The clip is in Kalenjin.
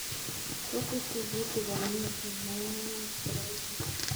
Rutu tikitik komie en ng'ung'unyek chebelbel.